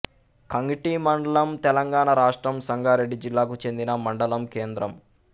కంగ్టి మండలం తెలంగాణ రాష్ట్రం సంగారెడ్డి జిల్లాకు చెందిన మండలం కేంద్రం